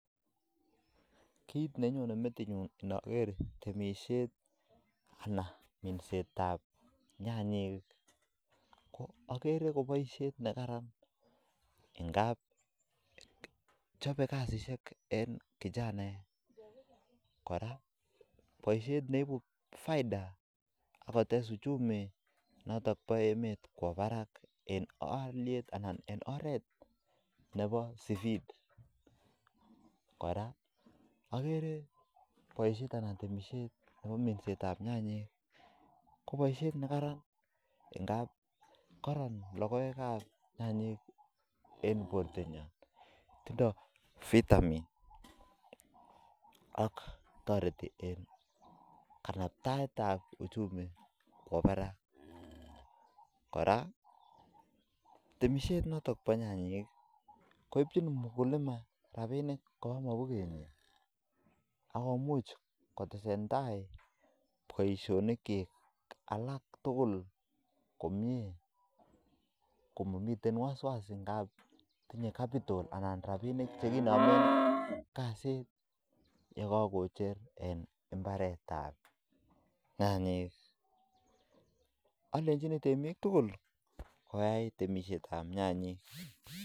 Kit nenyone Meti nyu ndager boisyoni bo temisiet anan ko kolset ab nyanyek ko chobei boishet eng kijanaek ako boishet neibu faida akotes uchumi eng aliet nemi barak mising keboishe nekararan ako kararan boishet ab nyanyek eng bortonyo ako kora temisiet Nebo nyanyek koibu robinik kobwa mapuket akalechini temik tukul koyai temisiet ab nyanyek